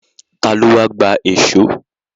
Ta ló wá gba èṣó?